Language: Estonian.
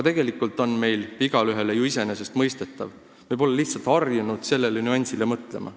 Tegelikult on see ju igaühele iseenesestmõistetav, aga me pole lihtsalt harjunud sellele nüansile mõtlema.